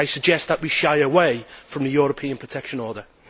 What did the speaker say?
I suggest that we shy away from the European Protection Order.